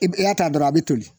I b i y'a ta dɔrɔn a be toli.